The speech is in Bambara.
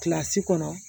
Kilasi kɔnɔ